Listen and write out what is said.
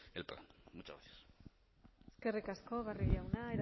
el plan muchas gracias eskerrik asko barrio jauna